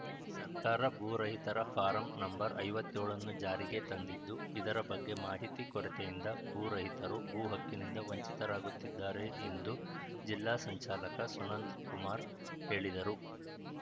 ಸರ್ಕಾರ ಭೂರಹಿತರ form number ಐವತ್ತ್ ಏಳನ್ನು ಜಾರಿಗೆ ತಂದಿದ್ದು ಇದರ ಬಗ್ಗೆ ಮಾಹಿತಿ ಕೊರತೆಯಿಂದ ಭೂ ರಹಿತರು ಭೂ ಹಕ್ಕಿನಿಂದ ವಂಚಿತರಾಗುತ್ತಿದ್ದಾರೆ ಎಂದು ಜಿಲ್ಲಾ ಸಂಚಾಲಕ ಸುನಂದ ಕುಮಾರ್‌ ಹೇಳಿದರು